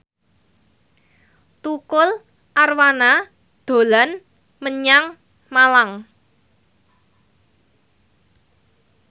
Tukul Arwana dolan menyang Malang